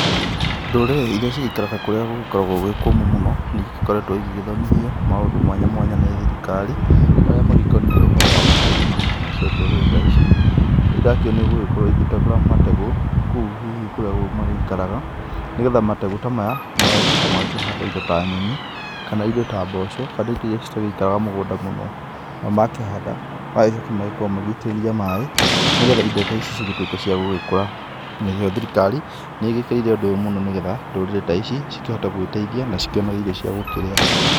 Ndũrĩrĩ iria cikaraga kũrĩa gwĩkoragwo gwĩ kũmũ mũno nĩ ikoretwo igĩthomithio maũndũ mwanya mwanya nĩ thirikari, marĩa magĩkoniĩ ũhoro wa gũkĩrĩma, nacio ndũrĩrĩ ta ici nĩirakĩonio gũgĩkorwo igĩtegũra mategũ kũu hihi kũrĩa maikaraga, nĩgetha mategũ ta maya magagĩcoka makahanda indo ta nyeni, kana irio ta mboco, kana indo iria cĩtaikaraga mũgũnda mũno na magakĩhanda, magagĩcoka magagĩitĩrĩria maĩ nĩgetha indo ta ici cĩgĩtuĩka cia gũgĩkũra nacio thirikari nĩĩkĩrĩire ũndũ ũyũ mũno, nĩgetha ndũrĩrĩ ta ici cĩkĩhote gwĩteithia na cĩkĩone irio cia gũgĩkĩrĩa.